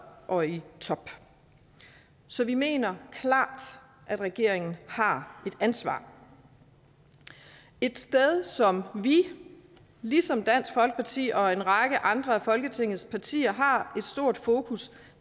og i top så vi mener klart at regeringen har et ansvar et sted som vi ligesom dansk folkeparti og en række andre af folketingets partier har et stort fokus